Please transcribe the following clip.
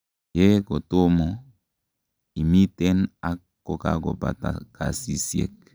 yee kotomo, imiten ak kokakobata kasisiek